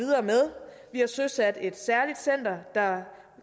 har søsat et særligt center der